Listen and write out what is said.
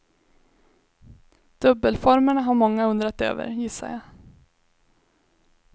Dubbelformerna har många undrat över, gissar jag.